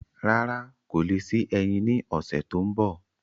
Rárá, kò le sí ẹyin ní ọsẹ tó n bọ